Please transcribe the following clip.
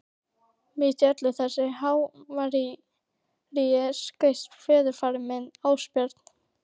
Mitt í öllu þessu havaríi skaust föðurafi minn, Ásbjörn